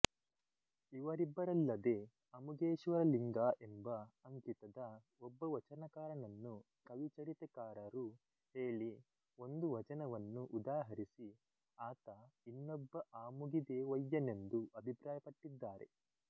ಇವರಿಬ್ಬರಲ್ಲದೆ ಅಮುಗೇಶ್ವರಲಿಂಗ ಎಂಬ ಅಂಕಿತದ ಒಬ್ಬ ವಚನಕಾರನನ್ನು ಕವಿಚರಿತೆಕಾರರು ಹೇಳಿ ಒಂದು ವಚನವನ್ನು ಉದಾಹರಿಸಿ ಆತ ಇನ್ನೊಬ್ಬ ಆಮುಗಿದೇವಯ್ಯನೆಂದು ಅಭಿಪ್ರಾಯಪಟ್ಟಿದ್ದಾರೆ